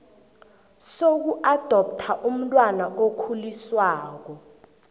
sokuadoptha umntwana okhuliswako